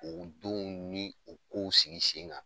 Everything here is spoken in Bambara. O denw ni o kow sigi sen kan.